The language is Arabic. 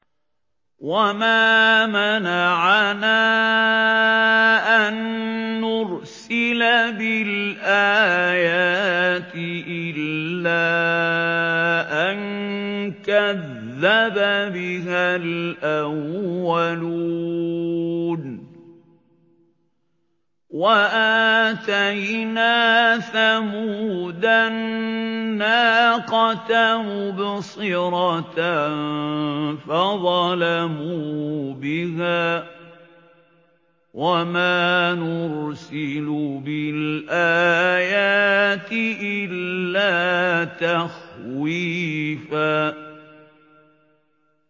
وَمَا مَنَعَنَا أَن نُّرْسِلَ بِالْآيَاتِ إِلَّا أَن كَذَّبَ بِهَا الْأَوَّلُونَ ۚ وَآتَيْنَا ثَمُودَ النَّاقَةَ مُبْصِرَةً فَظَلَمُوا بِهَا ۚ وَمَا نُرْسِلُ بِالْآيَاتِ إِلَّا تَخْوِيفًا